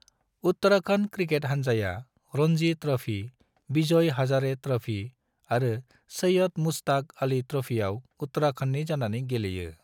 Uttarakhand cricket हानजाया Ranji trophy, Vijay Hazare trophy आरो सैयद मुश्ताक अली ट्रॉफीआव उत्तराखंडनि जानानै गेलेयो।